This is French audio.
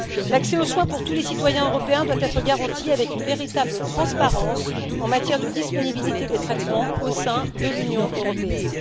L'accès aux soins pour tous les citoyens européens doit être garanti, avec une véritable transparence en matière de disponibilité des traitements au sein de l'Union européenne.